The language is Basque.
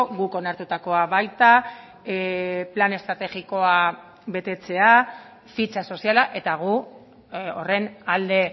guk onartutakoa baita plan estrategikoa betetzea fitxa soziala eta gu horren alde